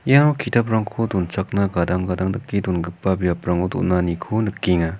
ia ki·taprangko donchakna gadang gadang dake dongipa biaprango donaniko nikenga.